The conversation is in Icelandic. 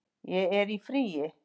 Ég er í fríi